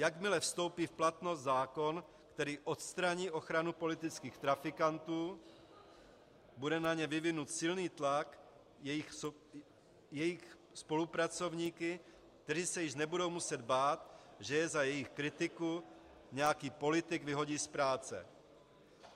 Jakmile vstoupí v platnost zákon, který odstraní ochranu politických trafikantů, bude na ně vyvinut silný tlak jejich spolupracovníky, kteří se již nebudou muset bát, že je za jejich kritiku nějaký politik vyhodí z práce.